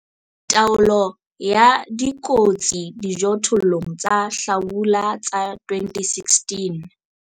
Taolo ya dikotsi dijothollong tsa hlabula tsa 2016.